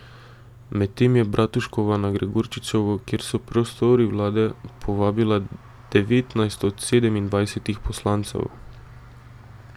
Medtem je Bratuškova na Gregorčičevo, kjer so prostori vlade, povabila devetnajst od sedemindvajsetih poslancev.